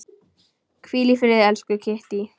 Hvíl í friði, elsku Kittý.